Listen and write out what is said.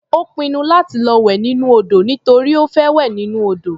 Ó pinnu láti lọ wẹ̀ nínú odò nítorí ó fẹ́ wẹ̀ nínú odò.